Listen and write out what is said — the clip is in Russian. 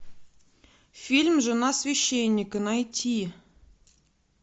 фильм жена священника найти